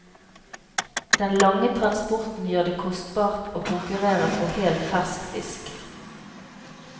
Den lange transporten gjør det kostbart å konkurrere på hel fersk fisk.